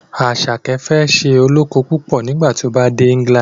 Asake fẹ ṣe olókó púpọ nigbati o bá dè England